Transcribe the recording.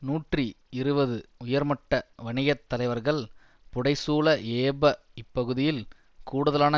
நூற்றி இருபது உயர்மட்ட வணிக தலைவர்கள் புடை சூழ ஏப இப்பகுதியில் கூடுதலான